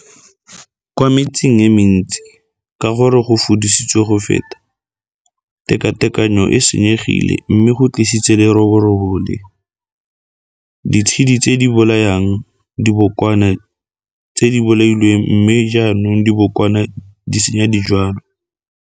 Kwa metseng e mentsi, ka gore go fudisitswe go feta, tekateknyo e e senyegile mme go tlisitse leroborobo le ditshedi tse di bolayang dibokwana tse di bolailwe mme jaanong dibokwana di senya dijwalwa.